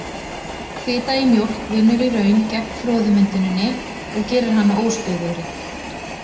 Fita í mjólk vinnur í raun gegn froðumynduninni og gerir hana óstöðugri.